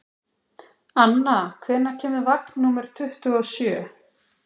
Anna, hvenær kemur vagn númer tuttugu og sjö?